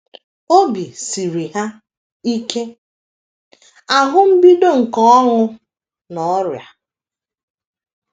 Obi siri ha ike - ahụ mbido nke ọnwụ na ọrịa.